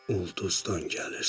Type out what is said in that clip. Ulduzdan gəlirsən.